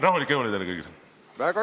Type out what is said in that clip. Rahulikke jõule teile kõigile!